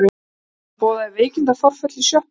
Hún boðaði veikindaforföll í sjoppunni.